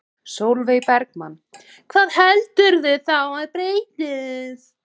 Sólveig Bergmann: Hvað heldurðu þá að breytist?